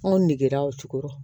Anw negera o cogorɔ